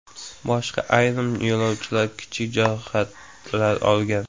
Boshqa ayrim yo‘lovchilar kichik jarohatlar olgan.